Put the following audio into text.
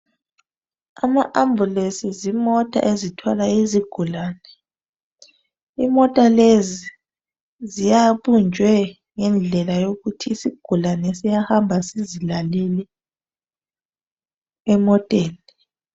Ama ambulance zimota ezithwaka izigulane. Imota lezi zibunjwe ngendlela yokuthi isigula e siyahamba sizilalele emoteni.